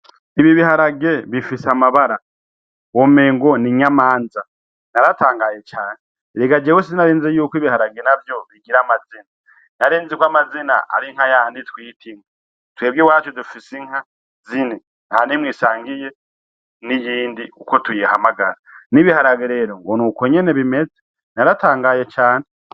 Ibi biharage bifise amabara womenga n’inyamanza naratangaye cane erega sinarinzi ko ibiharage navyo bigira amazina narinzi ko amazina ari nkayayandi twita inka twebwe iwacu dufise inka zine ntanimwe isangiye niyindi uko tuyihamagara n’ibiharage rero nuko nyene bimeze naratangaye cane